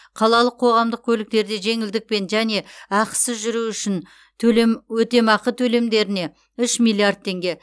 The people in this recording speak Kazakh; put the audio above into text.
қалалық қоғамдық көліктерде жеңілдікпен және ақысыз жүру үшін өтемақы төлемдеріне үш миллиард теңге